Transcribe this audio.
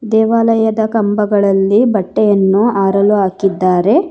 ದೇವಾಲಯದ ಕಂಬಗಳಲ್ಲಿ ಬಟ್ಟೆಯನ್ನು ಆರಲು ಹಾಕಿದ್ದಾರೆ.